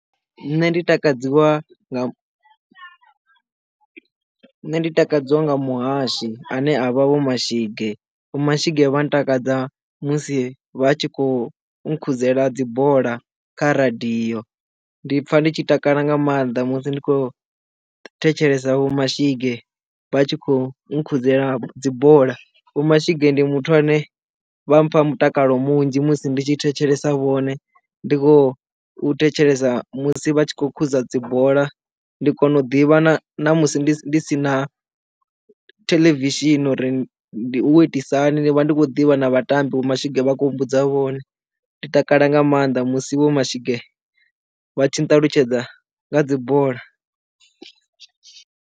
Nṋe ndi takadziwa nne ndi takadziwa nga muhashi ane a vha vho mashige vho mashige vha ntakadza musi vha tshi khou no nkhuzela dzi bola kha radio ndi pfa nditshi takala nga maanḓa musi ndi khou thetshelesa vho Mashige vha tshi khou nkudzela dzibola. Vho Mashige ndi muthu ane vha mpha mutakalo munzhi musi ndi tshi thetshelesa vhone ndi khou thetshelesa musi vha tshi khou khuthuza dzi bola ndi kona u ḓivha na na musi ndi si na theḽevishini uri ndi u itisa hani ndi vha ndi khou ḓivha na vhatambi vho Mashige vha khou mbudza vhone ndi takala nga maanḓa musi vho Mashige vha tshi nṱalutshedza nga dzi bola.